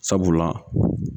Sabula